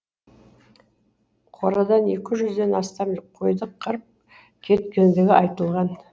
қорадан екі жүзден астам қойды қырып кеткендігі айтылған